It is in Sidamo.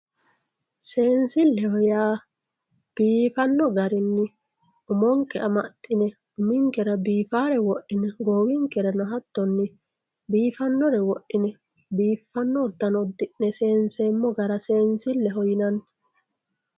Seensileho yaa biifanno gaarinni umonke amaxinne uminkera biifarre wodhine goowinkerano haatonni biifanore wodhine biifanno uddinne seensemo gaara seensileho yinanni